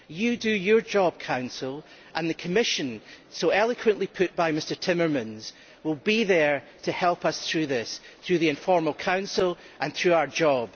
You do your job, Council, and the Commission so eloquently represented by Mr Timmermans will be there to help us through this, through the informal Council and through our job.